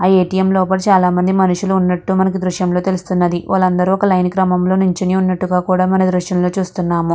ఆ ఎటిఎం లోపల చాల మంది మనుషుల్లు వున్నటు మనకి తెల్లుస్తుంది. వాళ్ళు అందరు లోనే లో వున్నటు కూడా మనకి ఈ దుర్షం లో తెల్లుస్తునది.